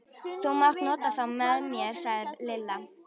Þú mátt nota þá með mér sagði Lilla.